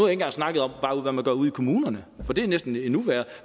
engang snakket om hvad man gør ude i kommunerne for det er næsten endnu værre